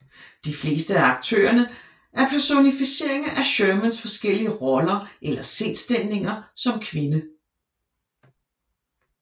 De fleste af aktørerne er personificeringer af Shermans forskellige roller eller sindsstemninger som kvinde